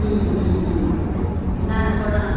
હા હા હા ના ના પણ આ